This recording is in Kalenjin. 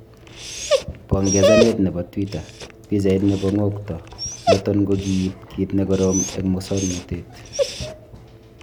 Pongezanet nebo twitter pichait nebo ngo kto noton kokiib kit nekorom eng musoknotet .